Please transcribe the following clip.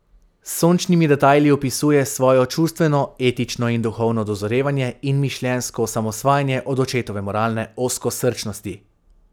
S sočnimi detajli opisuje svoje čustveno, etično in duhovno dozorevanje in mišljenjsko osamosvajanje od očetove moralne ozkosrčnosti.